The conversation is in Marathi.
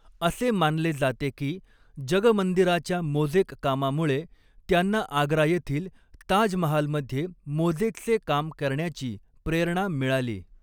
असे मानले जाते की जगमंदिराच्या मोजेक कामामुळे त्यांना आग्रा येथील ताजमहालमध्ये मोजेकचे काम करण्याची प्रेरणा मिळाली.